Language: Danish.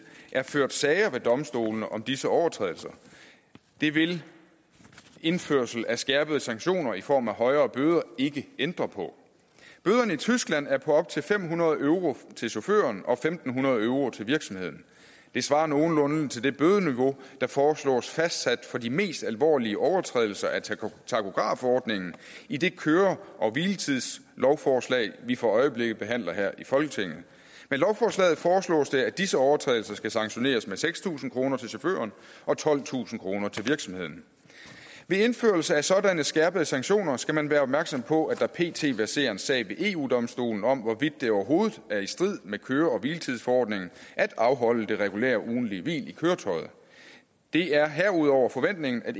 er ført sager ved domstolene om disse overtrædelser det vil indførelse af skærpede sanktioner i form af højere bøder ikke ændre på bøderne i tyskland er på op til fem hundrede euro til chaufføren og fem hundrede euro til virksomheden det svarer nogenlunde til det bødeniveau der foreslås fastsat for de mest alvorlige overtrædelser af takografordningen i det køre og hviletidslovforslag vi for øjeblikket behandler her i folketinget med lovforslaget foreslås det at disse overtrædelser skal sanktioneres med seks tusind kroner til chaufføren og tolvtusind kroner til virksomheden ved indførelse af sådanne skærpede sanktioner skal man være opmærksom på at der pt verserer en sag ved eu domstolen om hvorvidt det overhovedet er i strid med køre og hviletidsforordningen at afholde det regulære ugentlige hvil i køretøjet det er herudover forventningen at